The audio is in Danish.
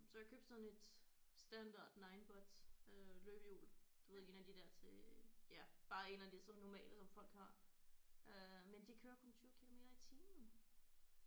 Så jeg købte sådan et standard ninebot øh løbehjul du ved en af de der til ja bare en af de sådan normale som folk har øh men de kører kun 20 kilometer i timen